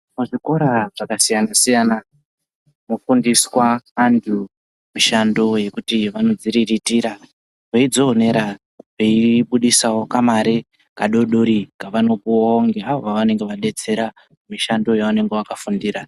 Muzvikora zvakasiyana-siyana mwofundiswa antu mishando yekuti vanodziriritira veidzionera veibudisawo kamare kadodori kavanopuwawo ngeavo vavanenge vadetsera mushando wavanenge vakafundira.